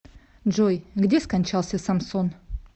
джой где скончался самсон